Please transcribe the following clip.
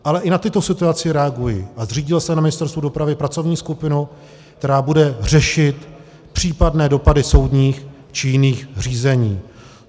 Ale i na tuto situaci reaguji a zřídil jsem na Ministerstvu dopravy pracovní skupinu, která bude řešit případné dopady soudních či jiných řízení.